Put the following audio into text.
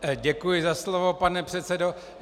Děkuji za slovo, pane předsedo.